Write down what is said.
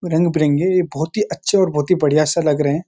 रंग बिरंगे ये बहुत ही अच्छे और बहुत ही बढ़िया से लग रहे हैं।